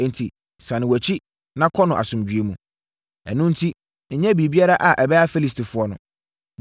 Enti, sane wʼakyi na kɔ no asomdwoeɛ mu. Ɛno enti, nyɛ biribiara a ɛbɛha Filistifoɔ no.”